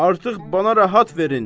Artıq mənə rahat verin.